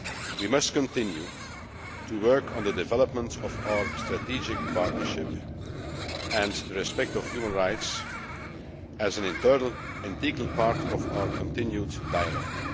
We must continue to work on the development of our strategic partnership and the respect of human rights as an integral part of our continued dialogue.